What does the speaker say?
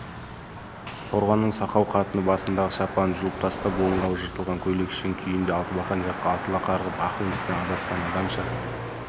қорғанның сақау қатыны басындағы шапанын жұлып тастап омырауы жыртылған көйлекшең күйінде алтыбақан жаққа атыла қарғып ақыл-естен адасқан адамша